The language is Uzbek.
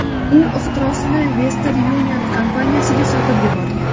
U ixtirosini Western Union kompaniyasiga sotib yuborgan.